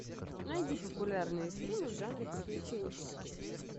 найди популярные фильмы в жанре приключенческие